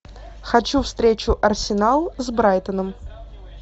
хочу встречу арсенал с брайтоном